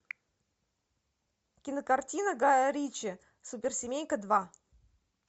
кинокартина гая ричи суперсемейка два